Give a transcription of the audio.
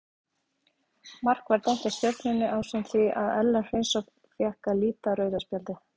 Mark var dæmt af Stjörnunni ásamt því að Ellert Hreinsson fékk að líta rauða spjaldið.